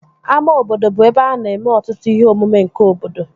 Ama obodo bụ ebe a na-eme ọtụtụ ihe omume nke obodo